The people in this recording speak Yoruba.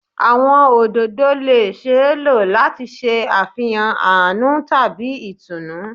Awọn ododo le ṣee lo lati ṣe afihan aanu tabi itunu